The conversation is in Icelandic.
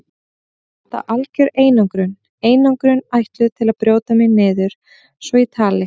Samt er þetta algjör einangrun, einangrun ætluð til að brjóta mig niður svo ég tali.